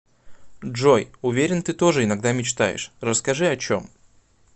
джой уверен ты тоже иногда мечтаешь расскажи о чем